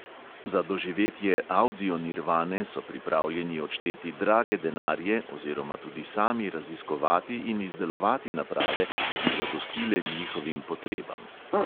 Za doživetje avdionirvane so pripravljeni odšteti drage denarje oziroma tudi sami raziskovati in izdelovati naprave, ki bi zadostile njihovim potrebam.